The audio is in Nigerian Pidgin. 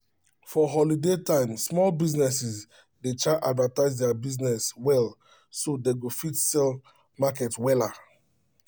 for holiday time small businesses dey try advertise their business well so dey go fit sell market wella